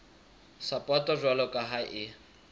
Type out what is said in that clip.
sapoto jwalo ka ha e